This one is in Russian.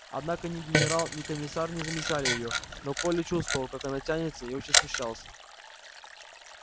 однако ни генерал ни комиссар не замечали её но коля чувствовал как она тянется и очень смущался